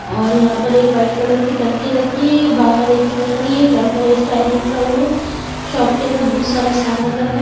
और यहाँ पे एक व्हाइट कलर की टंकी रखी है बाहर एक्टिवा खड़ी है लड़का एक स्टाइल में खड़ा हुआ है शॉप के अंदर बोहोत सारा सामान रखा हुआ ह--